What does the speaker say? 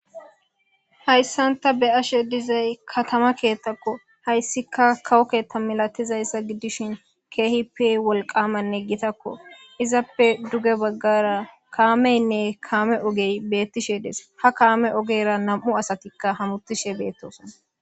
Haysan ta be'ashe dizay katama kethako haysika kawo ketha milatizaysa gidishin kehipe wolqamanne gitako izappe duge bagara kamenne kame oge betishe de'es ha kame ogera nam'u asatika hamutishe betosona.